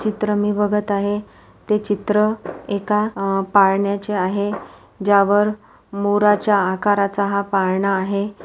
चित्र मी बघत आहे ते चित्र एका पाळण्याचे आहे ज्या वर मोराच्या आकराचा हा पाळणा आहे.